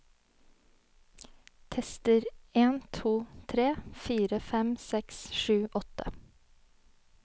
Tester en to tre fire fem seks sju åtte